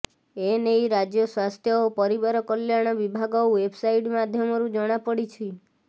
ଏନେଇ ରାଜ୍ୟ ସ୍ୱାସ୍ଥ୍ୟ ଓ ପରିବାର କଲ୍ୟାଣ ବିଭାଗ ଓ୍ୱେବସାଇଟ୍ ମାଧ୍ୟମରୁ ଜଣାପଡିଛି